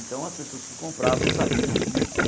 Então as pessoas que compravam sabiam disso.